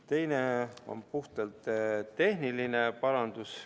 Teine on puhtalt tehniline parandus.